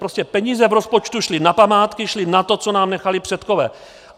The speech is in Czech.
Prostě peníze v rozpočtu šly na památky, šly na to, co nám nechali předkové.